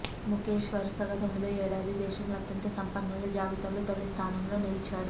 ముఖేష్ వరుసగా తొమ్మిదో ఏడాది దేశంలో అత్యంత సంపన్నుల జాబితాలో తొలి స్థానంలో నిలిచాడు